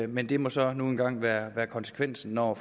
men det må så nu engang være konsekvensen når